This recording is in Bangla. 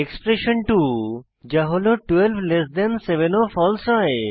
এক্সপ্রেশণ 2 যা হল 12 7 ও ফালসে হয়